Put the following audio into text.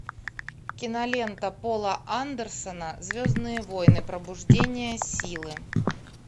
кинолента пола андерсона звездные войны пробуждение силы